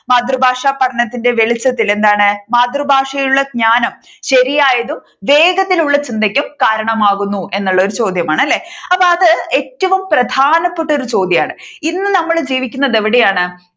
മാതൃഭാഷ പഠനത്തിന്റെ വെളിച്ചത്തിൽ എന്താണ് മാതൃഭാഷയിലുള്ള ജ്ഞാനം ശരിയായതും വേഗത്തിലുമുള്ള ചിന്തക്കും കാരണമാകുന്നു എന്നുള്ള ഒരു ചോദ്യമാണ് അല്ലെ അപ്പൊ അത് ഏറ്റവും പ്രധാനപ്പെട്ട ഒരു ചോദ്യമാണ് ഇന്ന് നമ്മൾ ജീവിക്കുന്നത് എവിടെയാണ്